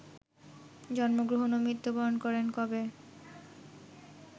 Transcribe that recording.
জন্মগ্রহন ও মৃত্যুবরণ করেন কবে